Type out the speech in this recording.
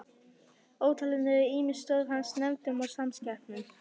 Ótalin eru ýmis störf hans í nefndum og samkeppnum.